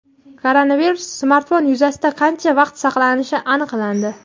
Koronavirus smartfon yuzasida qancha vaqt saqlanishi aniqlandi.